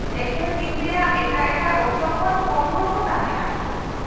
-ᱮᱠᱷᱮᱱ ᱫᱤᱱ ᱨᱮᱭᱟᱜ ᱮᱴᱟᱜ ᱮᱴᱟᱜ ᱚᱠᱛᱚ ᱠᱷᱚᱱ ᱠᱚᱢ ᱦᱚᱲ ᱠᱚ ᱛᱟᱦᱮᱸᱱᱟ ᱾